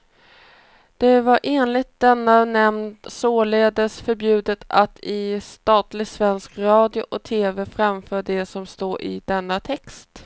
Det var enligt denna nämnd således förbjudet att i statlig svensk radio eller tv framföra det som står i denna text.